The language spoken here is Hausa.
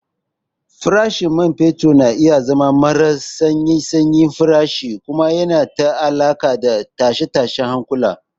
Farashin man fetur na iya zama maras tsayayyen farashi kuma yana ta'allaƙa da tashe-tashen hankula.